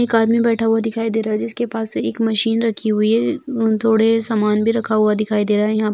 एक आदमी बैठा हुआ दिखाई दे रहा है जिसके पास एक मशीन रखी हुई है थोड़े समान भी रखा हुआ दिखाई दे रहा है यहां।